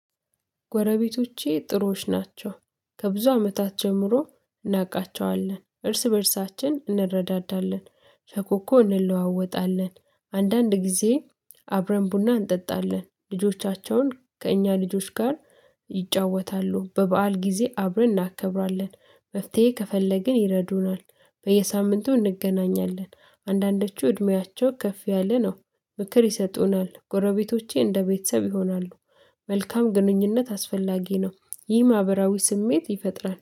ጎረቤቶቼ ጥሩዎች ናቸው። ከብዙ አመታት ጀምሮ እናውቃቸዋለን እርስ በእርሳችን እንረዳዳለን ፈኮኮ እንለዋወጣለን አንዳንድ ጊዜ አብረን ቡና እንጠጣለን ልጆቻቸውን ከእኛ ልጆች ጋር ይጫወታሉ። በበዓል ጊዜ አብረን እናከብራለን መፍትሄ ከፈለግን ይረዱናል። በየሳምንቱ እንገናኛለን። አንዳንዶቹ እድሜያቸው ከፍ ያለ ነው። ምክር ይሰጡናል ጎረቤቶቼ እንደ ቤተሰብ ይሆናሉ። መልካም ግንኙነት አስፈላጊ ነው። ይህ ማህበራዊ ስሜት ይፈጥራል